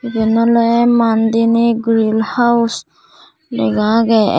yan ole nandini grill house lega age.